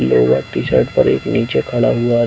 Blue black T-shirt पर एक नीचे खड़ा हुआ है।